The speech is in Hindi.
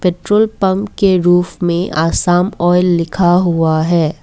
पेट्रोल पंप के रूफ में आसाम ऑयल लिखा हुआ है।